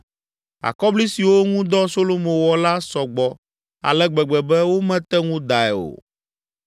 Akɔbli siwo ŋu dɔ Solomo wɔ la sɔ gbɔ ale gbegbe be, womete ŋu dae o.